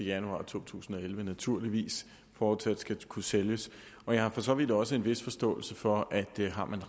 januar to tusind og elleve naturligvis fortsat skal kunne sælges og jeg har for så vidt også en vis forståelse for at har man